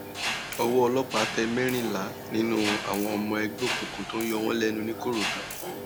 owó ọlọpàá tẹ mẹrìnlá nínú àwọn ọmọ ẹgbẹ òkùnkùn tó ń yọ wọn lẹnu nìkòròdú